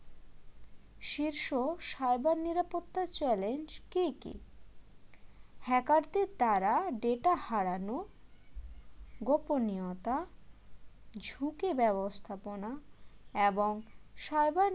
শীর্ষ cyber নিরাপত্তার challenge কি কি hacker দেরদ্বারা data হারানো গোপনীয়তা ঝুঁকি ব্যবস্থাপনা এবং সবার